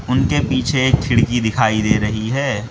उनके पीछे एक खिड़की दिखाई दे रही है।